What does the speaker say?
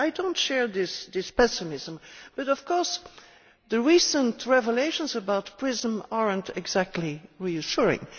I do not share this pessimism, but of course the recent revelations about PRISM are not exactly reassuring.